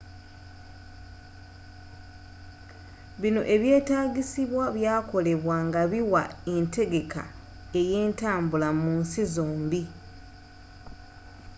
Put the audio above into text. bino ebyetaagisibwa byakolebwa nga biwa entegeka eyentambula mu nsi zombie